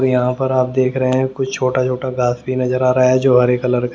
यहाँ पर आप देख रहे हैं कुछ छोटा छोटा घास भी नजर आ रहा है जो हरे कलर का--